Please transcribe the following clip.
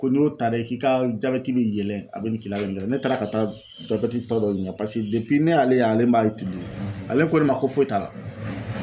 Ko n'i y'o ta dɛ k'i ka jabɛti bi yɛlɛ a be nin kila a be nin k'ila ne taara ka taa jabɛti tɔ dɔ ɲininga pase depi ne y'ale ye ale m'a itilize d ale ko ne ma ko foyi t'a la